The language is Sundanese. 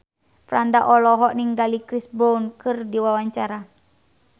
Franda olohok ningali Chris Brown keur diwawancara